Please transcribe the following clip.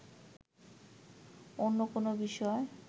অন্য কোন বিষয়